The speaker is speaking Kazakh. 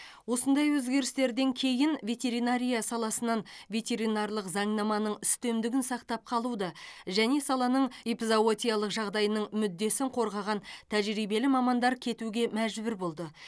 осындай өзгерістерден кейін ветеринария саласынан ветеринарлық заңнаманың үстемдігін сақтап қалуды және саланың эпизоотиялық жағдайының мүддесін қорғаған тәжірибелі мамандар кетуге мәжбүр болды